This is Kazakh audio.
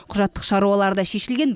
құжаттық шаруалары да шешілген